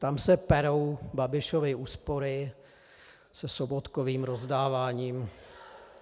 Tam se perou Babišovy úspory se Sobotkovým rozdáváním.